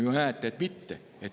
Te ju näete, et mitte.